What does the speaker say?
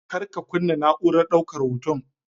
Kar ka kunna na'urar daukar hoton.